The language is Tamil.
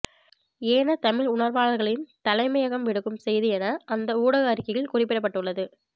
ஏன தமிழ் உணர்வாளர்களின் தலைமையகம் விடுக்கும் செய்தி என அந்த ஊடக அறிக்கையில் குறிப்பிடப்பட்டுள்ளது